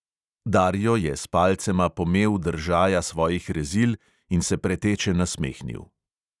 Dario je s palcema pomel držaja svojih rezil in se preteče nasmehnil.